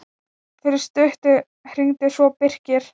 Fyrir stuttu hringdi svo Birkir.